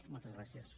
moltes gràcies